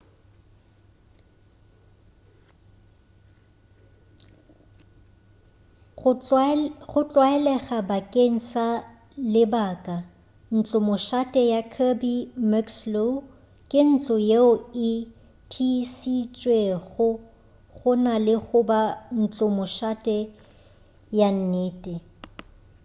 go tlwaelega bakeng sa lebaka ntlomošate ya kirby muxloe ke ntlo yeo e thiišitšwego go na le goba ntlomošate ya nnete